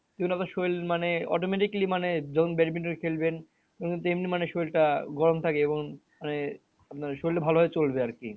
শরীর মানে automatically মানে যখন badminton খেলবেন তখন তো এমনি মানে শরীরটা গরম থাকে এবং মানে আপনার শরীরটা ভালো ভাবে চলবে আরকি